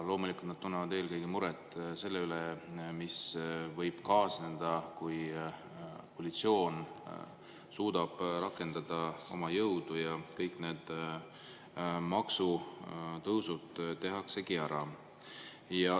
Loomulikult tunnevad nad muret eelkõige selle pärast, mis võib kaasneda, kui koalitsioon suudab rakendada oma jõudu ja kõik need maksutõusud tehaksegi ära.